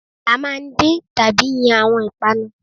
À máa ń din tàbí yan àwon ìpanu